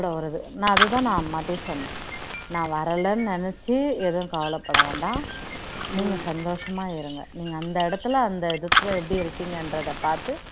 நான் அது தான் நான் மதியம் சொன்னேன் நான் வரலைன்னு நினைச்சி எதுவும் கவலைப்பட வேண்டாம் நீங்க சந்தோஷமா இருங்க நீங்க அந்த இடத்துல அந்த இதுக்கு எப்படி இருக்கீங்க என்றத பார்த்து